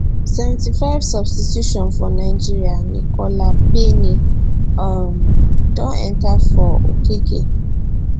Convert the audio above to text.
75 substitution for nigeria nicola payne um don enta for okeke